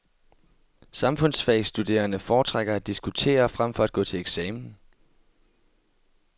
Samfundsfagstuderende foretrækker at diskutere frem for at gå til eksamen.